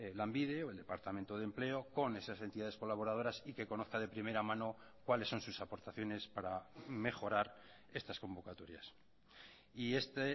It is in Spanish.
lanbide o el departamento de empleo con esas entidades colaboradoras y que conozca de primera mano cuáles son sus aportaciones para mejorar estas convocatorias y este